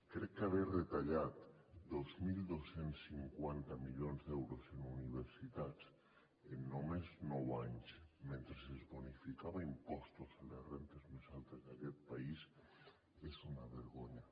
crec que haver retallat dos mil dos cents i cinquanta milions d’euros en universitats en només nou anys mentre es bonificava impostos a les rendes més altes d’aquest país és una vergonya